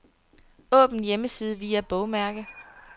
Åbn hjemmeside via bogmærke.